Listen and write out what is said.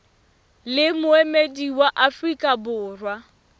le moemedi wa afrika borwa